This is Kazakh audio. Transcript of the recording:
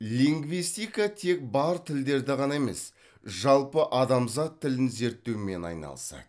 лингвистика тек бар тілдерді ғана емес жалпы адамзат тілін зерттеумен айналысады